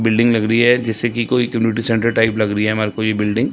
Building लग रही है जैसे कि कोई सेंट्रल टाइप लग रही है हमारे को ये बिल्डिंग ।